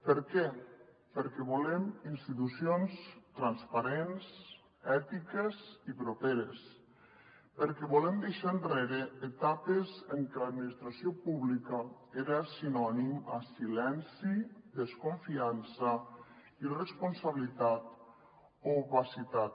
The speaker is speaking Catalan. per què perquè volem institucions transparents ètiques i properes perquè volem deixar enrere etapes en què l’administració pública era sinònim a silenci desconfiança irresponsabilitat o opacitat